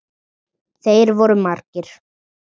Þeir voru margir.